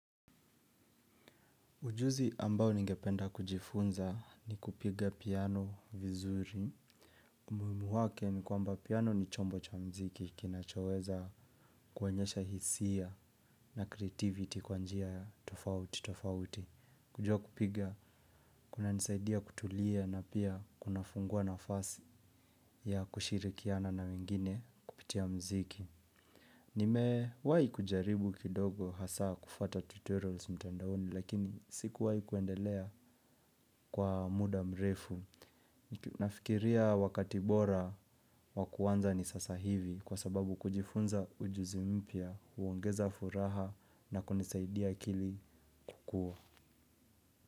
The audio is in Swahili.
Ujuzi ambao ningependa kujifunza ni kupiga piano vizuri. Umuhimu wake ni kwamba piano ni chombo cha mziki kinachoweza kuonyesha hisia na creativity kwa njia tofauti tofauti. Kujua kupiga, kuna nisaidia kutulia na pia kunafungua nafasi ya kushirikiana na wengine kupitia mziki. Nimewai kujaribu kidogo hasa kufuata tutorials mtandaoni lakini siku wahi kuendelea kwa muda mrefu. Nafikiria wakati bora wakuanza ni sasa hivi kwa sababu kujifunza ujuzi mpya, huongeza furaha na kunisaidia akili kuwa.